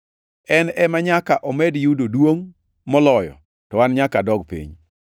En ema nyaka omed yudo duongʼ moloyo, to an nyaka adog piny.